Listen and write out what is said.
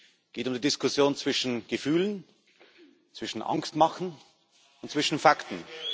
Es geht um die Diskussion zwischen Gefühlen, zwischen Angstmachen und zwischen Fakten.